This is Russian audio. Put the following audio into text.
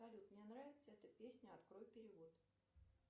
салют мне нравится эта песня открой перевод